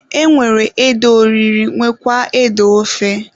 E nwere ede oriri nwekwaa ede ofe.